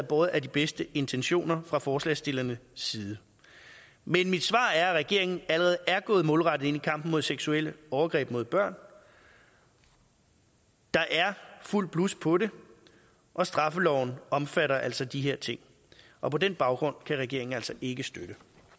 båret af de bedste intentioner fra forslagsstillernes side men mit svar er at regeringen allerede er gået målrettet ind i kampen mod seksuelle overgreb mod børn der er fuldt blus på det og straffeloven omfatter altså de her ting og på den baggrund kan regeringen altså ikke støtte